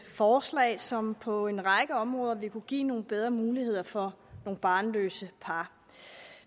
forslag som på en række områder vil kunne give nogle bedre muligheder for nogle barnløse par